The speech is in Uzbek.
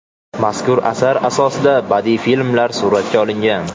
Mazkur asar asosida badiiy filmlar suratga olingan.